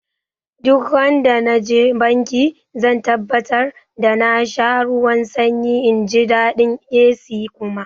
Duk randa naje banki zan tabbatar da na sha ruwan sanyi inji daɗin AC kuma